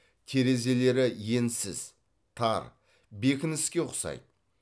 терезелері енсіз тар бекініске ұқсайды